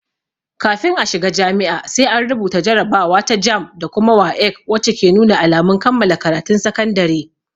Kafin a shiga jami'a, sai an rubuta jarabawa ta "JAMB" da kuma "WAEC" wacce ke nuna alamun kammala karatun sakandare.